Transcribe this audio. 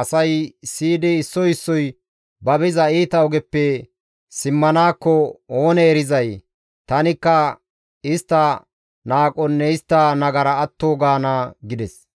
asay siyidi issoy issoy ba biza iita ogeppe simmanaakko oonee erizay? Tanikka istta qohonne istta nagara atto gaana» gides.